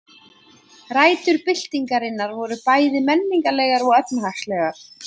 Rætur byltingarinnar voru bæði menningarlegar og efnahagslegar.